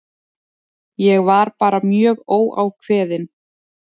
Ég var bara mjög óákveðinn.